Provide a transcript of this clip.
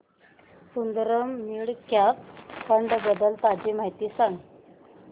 Sundaram mid cap fund बद्दल ताजी माहिती सांग